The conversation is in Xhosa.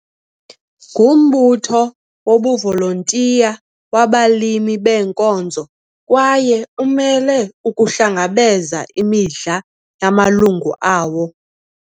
Ngumbutho wobuvolontiya wabalimi beenkozo kwaye umele ukuhlangabeza imidla yamalungu awo.